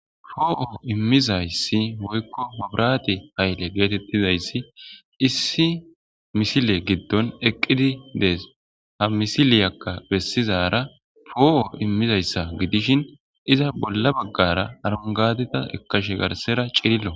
poo7o immizayssi Woykko oykko pabrati hayle geetettizayssi issi misile giddon eqqidi dees ha misiliyakka bessizara poo7o immizayssa gidishin iza bolla baggara arongadita ekkashe garsera cirillo